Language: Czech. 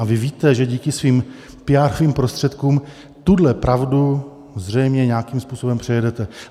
A vy víte, že díky svým píárovým prostředkům tuhle pravdu zřejmě nějakým způsobem přejedete.